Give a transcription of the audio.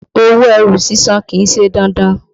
Owó ẹrù sísàn kìí ṣe dandan.